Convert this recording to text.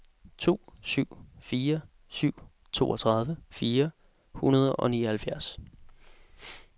to syv fire syv toogtredive fire hundrede og nioghalvfjerds